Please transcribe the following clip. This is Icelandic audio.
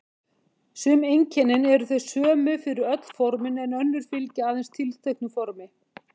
Sum einkennin eru þau sömu fyrir öll formin en önnur fylgja aðeins tilteknu formi.